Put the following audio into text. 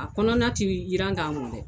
A kɔnɔna tɛ jiran k'a mɔ dɛ